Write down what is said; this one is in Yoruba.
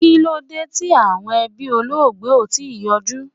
Kilode ti awọn ẹbí Olóògbé o tii yọju?